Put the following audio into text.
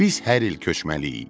Biz hər il köçməliyik.